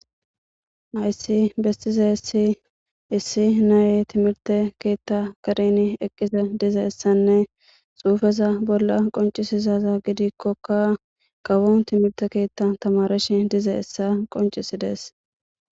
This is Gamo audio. Haysi besizaysi issi naye timirte ketha kareni eqizi dizaysanne xufeza bola qonc'isizaza gidikokka kawo timirte kethan tamarashe dizaysa qonc'isides.